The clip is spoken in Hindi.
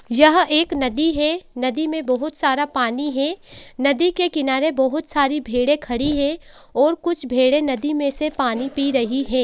यहाँ एक नदी है नदी में बहोत सारा पानी है नदी के किनारे बहोत सारी भेड़ें खड़ी हैं और कुछ भेड़ें नदी में से पानी पी रहे हैं।